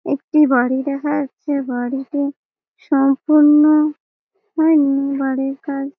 একটি বাড়ি দেখা যাচ্ছে বাড়িটি সম্পূর্ণ হয়নি বাড়ির কাজ --